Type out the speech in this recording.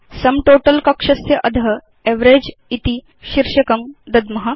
सुं तोतल कक्षस्य अध एवरेज इति शीर्षकं दद्म